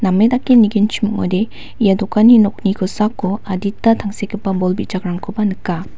namedake nigenchimode ia dokgani nokni kosako adita tangsekgipa bol bijakrangkoba nika.